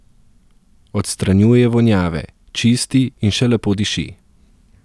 Odstranjuje vonjave, čisti in še lepo diši.